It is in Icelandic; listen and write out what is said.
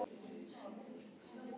Hjördís: Þá komstu á Suðurlandið?